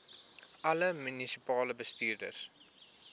alle munisipale bestuurders